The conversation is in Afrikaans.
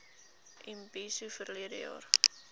imbizo verlede jaar